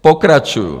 Pokračuji.